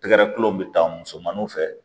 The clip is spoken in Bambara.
Tɛgɛrɛ kelen bɛ taa musomaninw fɛ